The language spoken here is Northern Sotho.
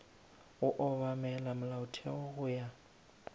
go obamela molaotheo go ya